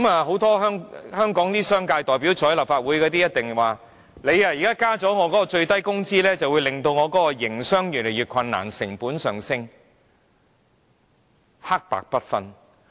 很多代表香港商界的立法會議員一定會說，增加最低工資會令他們的營商環境因成本上升而越趨困難。